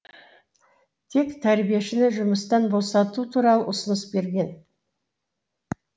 тек тәрбиешіні жұмыстан босату туралы ұсыныс берген